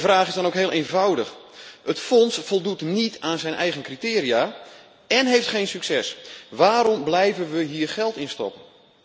Mijn vraag is dan ook heel eenvoudig Het fonds voldoet niet aan zijn eigen criteria en heeft geen succes, waarom blijven we hier dan geld in stoppen?